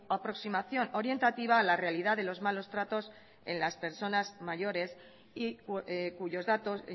aproximación orientativa a la realidad de los malos tratos en las personas mayores y cuyos datos